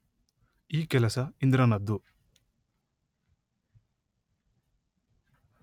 ಈ ಕೆಲಸ ಇಂದ್ರನದ್ದು